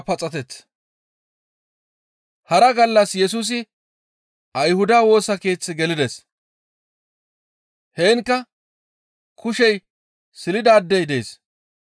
Hara gallas Yesusi Ayhuda Woosa Keeththe gelides. Heenkka kushey silidaadey dees.